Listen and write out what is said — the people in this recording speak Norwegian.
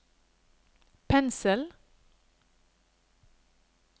pensel